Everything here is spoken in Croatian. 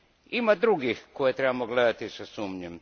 Ima drugih koje trebamo gledati sa sumnjom.